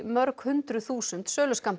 mörg hundruð þúsund